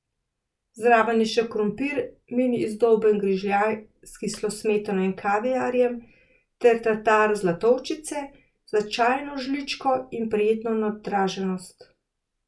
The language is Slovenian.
Zraven je še krompir, mini izdolben grižljaj, s kislo smetano in kaviarjem, ter tatar zlatovčice, za čajno žličko in prijetno nadraženost.